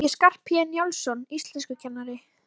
Rafleiðnin er mælikvarði á magn uppleystra efna í vatninu.